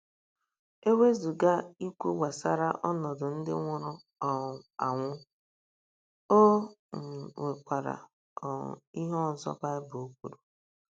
E wezụga ikwu gbasara ọnọdụ ndị nwụrụ um anwụ, o um nwekwara um ihe ọzọ Baịbụl kwuru.